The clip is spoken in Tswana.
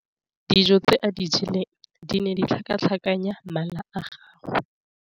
Dijô tse a di jeleng di ne di tlhakatlhakanya mala a gagwe.